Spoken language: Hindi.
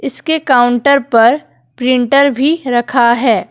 इसके काउंटर पर प्रिंटर भी रखा है ।